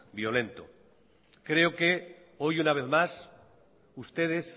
violento creo que hoy una vez más ustedes